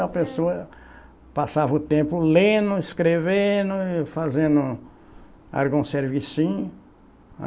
A pessoa passava o tempo lendo, escrevendo e fazendo algum servicinho.